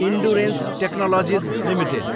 endurance Technologies Ltd